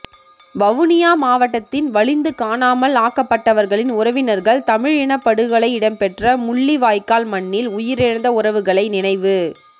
வவுனியா மாவட்டத்தின் வலிந்து காணாமல் ஆக்கப்பட்டவர்களின் உறவினர்கள் தமிழ் இனப்படுகொலை இடம்பெற்ற முள்ளி வாய்க்கால் மண்ணில் உயிரிழந்த உறவுகளை நினைவு